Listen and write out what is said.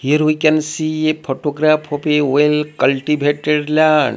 here we can see photograph of a well cultivated land.